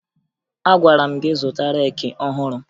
Agwara m gị zụta reeki ọhụrụ!